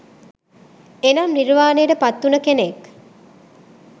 එනම් නිර්වානයට පත් උන කෙනෙක්